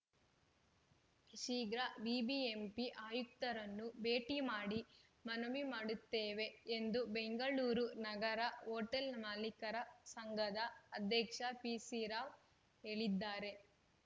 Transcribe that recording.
ಶೀಘ್ರ ಬಿಬಿಎಂಪಿ ಆಯುಕ್ತರನ್ನು ಭೇಟಿ ಮಾಡಿ ಮನವಿ ಮಾಡುತ್ತೇವೆ ಎಂದು ಬೆಂಗಳೂರು ನಗರ ಹೋಟೆಲ್‌ ಮಾಲಿಕರ ಸಂಘದ ಅಧ್ಯಕ್ಷ ಪಿಸಿರಾವ್‌ ಹೇಳಿದ್ದಾರೆ